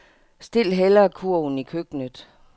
Stil hellere kurven i køkkenet.